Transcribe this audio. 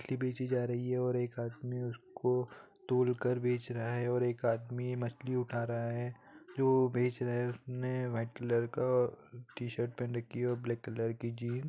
मछली बेची जा रही है और एक आदमी उसको तोलकर बेच रहा है और एक आदमी मछली उठा रहा है जो बेच रहा है उसने व्हाइट कलर का आ टी-शर्ट पेहन रखी हे और ब्लैक कलर की जींस ।